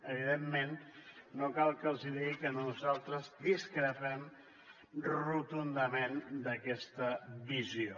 evidentment no cal que els digui que nosaltres discrepem rotundament d’aquesta visió